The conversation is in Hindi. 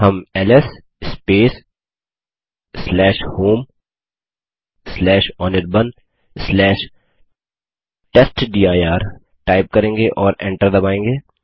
हम एलएस homeanirbantestdir टाइप करेंगे और एंटर दबायेंगे